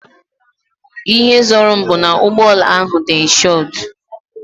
Ihe zoro m bu ná ụgbọala ahụ dị inshodu